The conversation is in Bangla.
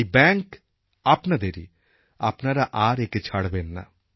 এই ব্যাঙ্ক আপনাদেরই আপনারা আর একে ছাড়বেন না